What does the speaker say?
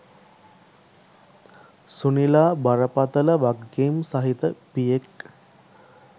සුනිලා බරපතල වගකීම් සහිත පියෙක්.